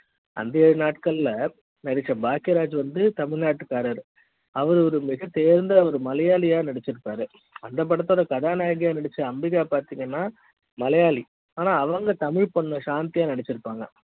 அந்த ஏழு நாட்கள் பாக்கிய ராஜ் வந்து தமிழ்நாட்டுக்காறு அவர் ஒரு மிக தேர்ந்த ஒரு மலையாளியா நடிச்சிருக்காரு அந்த படத்துல கதாநாயகி நடிச்ச அம்பிகா பாத்திங்கன்னா மலையாளி ஆனா அவங்க தமிழ் பொண்ணு சாந்தியா நடிச்சிருப்பாங்க